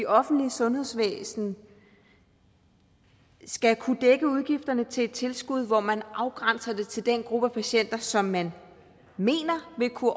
offentlige sundhedsvæsen skal kunne dække udgifterne til et tilskud hvor man afgrænser det til den gruppe af patienter som man mener vil kunne